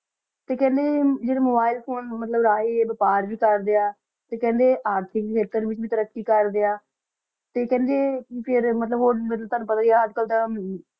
ਤਾ ਖਾਂਦਾ ਆ ਮੋਬਿਲੇ ਫੋਨੇ ਜਰਾ ਬਫ਼ਰ ਵੀ ਕਰਦਾ ਆ ਤਾ ਖਾਂਦਾ ਅਰਜ਼ੀ ਵੀ ਤੈਰਾਕੀ ਕਰਦਾ ਆ ਤਾ ਖਾਂਦੀ ਮਤਲਬ ਟੋਆਨੁ ਪਤਾ ਏਈ ਆ ਅਜੇ ਕਲ ਦਾ